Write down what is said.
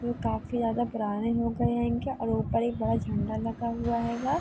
ये काफी ज्यादा पुराने हो गये हैंगे और ऊपर एक बड़ा झंडा लगा हुआ हैगा।